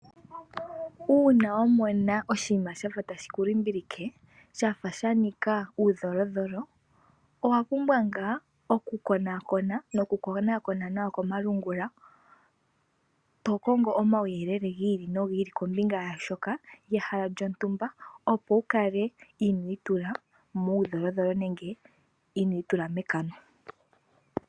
Uuna wamona oshinima sha tashi ku limbilike shafa sha nika uulingilingi owa pumbwa ngaa oku konaakona noku konaakona nawa komalungula tokongo omawuyelele gi ili nohi ili kombinga yaashoka ehala lyontumba opo wukale ino itula muulingilingi nenge ino itula mekano